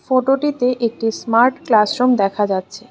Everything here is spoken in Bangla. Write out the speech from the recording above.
ফটোটিতে একটি স্মার্ট ক্লাসরুম দেখা যাচ্ছে।